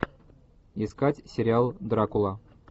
искать сериал дракула